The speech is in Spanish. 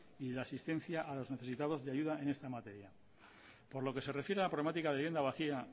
y de la asistencia a los necesitados de ayuda en esta materia por lo que se refiere a la problemática de vivienda vacía